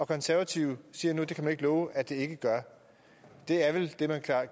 konservative siger nu at det kan man ikke love at det ikke gør det er vel det man